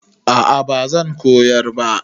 A'a bazan koyar ba